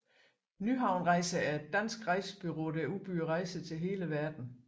Nyhavn Rejser er et dansk rejsebureau der udbyder rejser til hele verden